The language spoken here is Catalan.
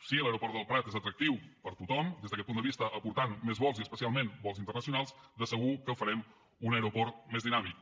si l’aeroport del prat és atractiu per a tothom des d’aquest punt de vista aportant més vols i especialment vols internacionals de segur que el farem un aeroport més dinàmic